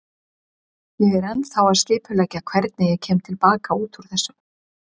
Ég er ennþá að skipuleggja hvernig ég kem til baka út úr þessu.